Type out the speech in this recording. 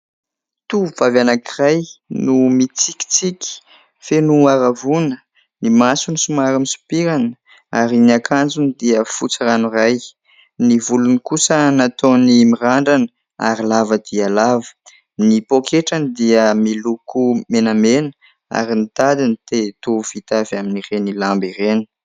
Tovovavy anankiray no mitsikitsiky feno haravoana ny masony, somary misopirana ary ny akanjony dia fotsy ranoray. Ny volony kosa nataony mirandrana ary lava dia lava. Ny pôketrany dia miloko menamena ary ny tadiny dia toy vita avy amin' ny lamba ireny.